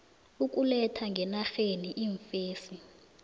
ukuletha ngenarheni iimfesi